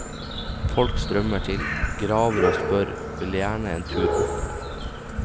Folk strømmer til, graver og spør, vil gjerne en tur opp.